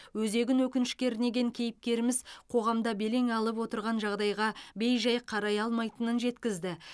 өзегін өкініш кернеген кейіпкеріміз қоғамда белең алып отырған жағдайға бей жай қарай алмайтынын жеткізді